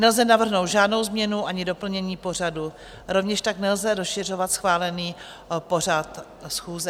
Nelze navrhnout žádnou změnu ani doplnění pořadu, rovněž tak nelze rozšiřovat schválený pořad schůze.